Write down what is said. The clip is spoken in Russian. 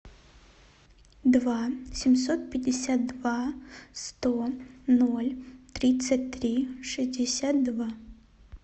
два семьсот пятьдесят два сто ноль тридцать три шестьдесят два